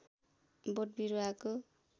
बोट बिरूवाको